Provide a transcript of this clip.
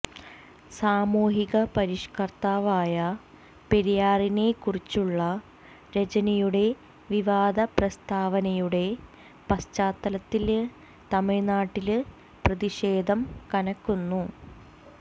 സാമൂഹിക പരിഷ്കര്ത്താവായ പെരിയാറിനെ കുറിച്ചുള്ള രജനിയുടെ വിവാദ പ്രസ്താവനയുടെ പശ്ചാത്തലത്തില് തമിഴ്നാട്ടില് പ്രതിഷേധം കനക്കുന്നു